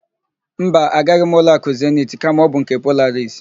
Mba, agaghị m n' ụlọakụ Zenit kama ọ bụ nke Polaris.